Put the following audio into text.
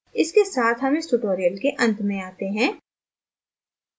इसके साथ हम इस tutorial के अंत में आते हैं